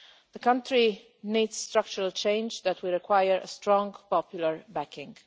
The country needs structural change that will require strong popular backing.